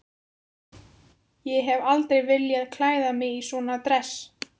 Ég hef aldrei viljað klæða mig í svona dress.